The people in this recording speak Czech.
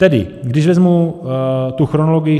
Tedy když vezmu tu chronologii.